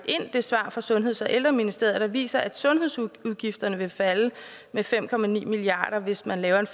det svar fra sundheds og ældreministeriet der viser at sundhedsudgifterne vil falde med fem milliard kr hvis man laver en